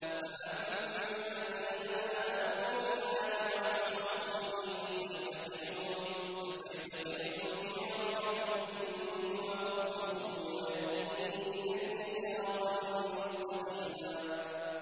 فَأَمَّا الَّذِينَ آمَنُوا بِاللَّهِ وَاعْتَصَمُوا بِهِ فَسَيُدْخِلُهُمْ فِي رَحْمَةٍ مِّنْهُ وَفَضْلٍ وَيَهْدِيهِمْ إِلَيْهِ صِرَاطًا مُّسْتَقِيمًا